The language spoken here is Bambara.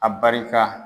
A barika